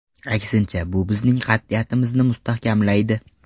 Aksincha, bu bizning qat’iyatimizni mustahkamlaydi.